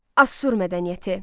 Asur mədəniyyəti.